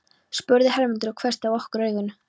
spurði Hermundur og hvessti á okkur augun.